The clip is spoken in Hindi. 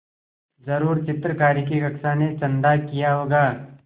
ज़रूर चित्रकारी की कक्षा ने चंदा किया होगा